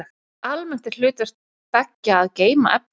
Almennt er hlutverk beggja að geyma efni.